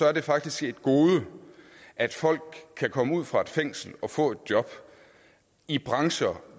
er det faktisk et gode at folk kan komme ud fra et fængsel og få et job i brancher